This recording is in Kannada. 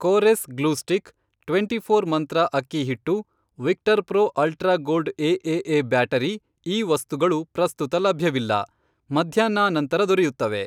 Kores glue stick twenty four Mantra ಅಕ್ಕಿ ಹಿಟ್ಟು Victor Pro ultra gold AAA battery ಈ ವಸ್ತುಗಳು ಪ್ರಸ್ತುತ ಲಭ್ಯವಿಲ್ಲ, ಮಧ್ಯಾಹ್ನಾನಂತರ ದೊರೆಯುತ್ತವೆ.